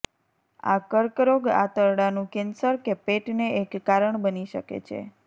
આ કર્કરોગ આંતરડાનું કેન્સર કે પેટને એક કારણ બની શકે છે